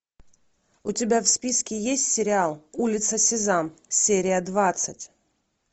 у тебя в списке есть сериал улица сезам серия двадцать